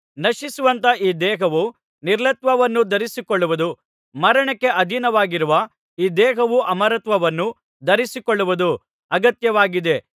ನಶಿಸುವಂಥ ಈ ದೇಹವು ನಿರ್ಲಯತ್ವವನ್ನು ಧರಿಸಿಕೊಳ್ಳುವುದೂ ಮರಣಕ್ಕೆ ಅಧೀನವಾಗಿರುವ ಈ ದೇಹವು ಅಮರತ್ವವನ್ನು ಧರಿಸಿಕೊಳ್ಳುವುದೂ ಅಗತ್ಯವಾಗಿದೆ